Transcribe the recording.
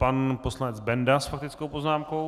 Pan poslanec Benda s faktickou poznámkou.